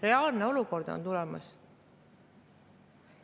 See on reaalne olukord, mis võib tulla.